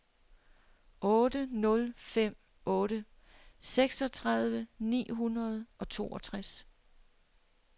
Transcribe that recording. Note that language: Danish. otte nul fem otte seksogtredive ni hundrede og toogtres